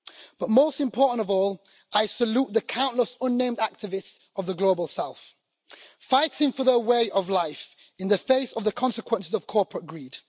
But most important of all, I salute the countless unnamed activists of the Global South, fighting for their way of life in the face of the consequences of corporate greed.